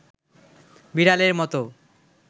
বিড়ালের মতো